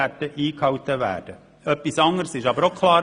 Etwas anderes wurde jedoch auch klar: